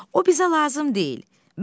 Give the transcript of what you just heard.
O bizə lazım deyil.